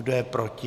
Kdo je proti?